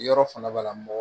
Yɔrɔ fana b'a la mɔgɔ